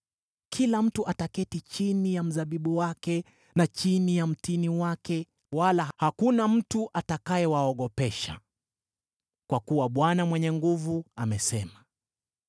Kila mtu ataketi chini ya mzabibu wake na chini ya mtini wake, wala hakuna mtu atakayewaogopesha, kwa kuwa Bwana Mwenye Nguvu Zote amesema.